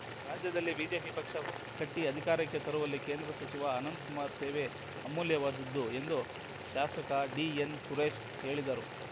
ರಾಜ್ಯದಲ್ಲಿ ಬಿಜೆಪಿ ಪಕ್ಷ ಕಟ್ಟಿಅಧಿಕಾರಕ್ಕೆ ತರುವಲ್ಲಿ ಕೇಂದ್ರ ಸಚಿವ ಅನಂತಕುಮಾರ್‌ ಸೇವೆ ಅಮೂಲ್ಯವಾದುದು ಎಂದು ಶಾಸಕ ಡಿಎನ್ ಸುರೇಶ್‌ ಹೇಳಿದರು